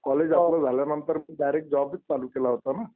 College आपलं झाल्यानंतर मी डायरेक्ट जॉबच चालू केला होता ना.